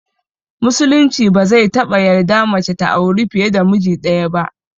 Musulunci ba zai taɓa yarda mace ta auri fiye da miji ɗaya ba